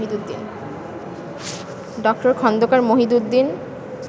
ড. খন্দকার মহিদউদ্দিন